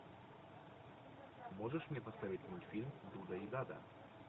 можешь мне поставить мультфильм дуда и дада